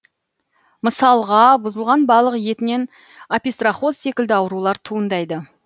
мысалға бұзылған балық етінен опистрохоз секілді аурулар туындайды